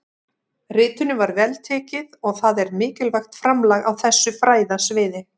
Ritinu var vel tekið og það er mikilvægt framlag á þessu fræðasviði.